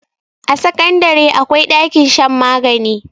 a sakandare akwai ɗakin shan magani